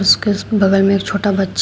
उसके बगल में एक छोटा बच्चा--